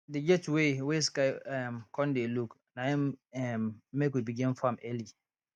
dey get way wey sky um con dey look na im im make we begin farm early